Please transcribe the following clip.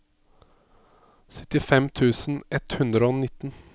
syttifem tusen ett hundre og nitten